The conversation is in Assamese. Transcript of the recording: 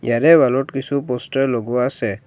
ইয়াৰে ৱাল ত কিছু প'ষ্টাৰ লগোৱা আছে।